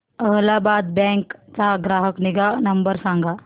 Allahabad bank चा ग्राहक निगा नंबर सांगा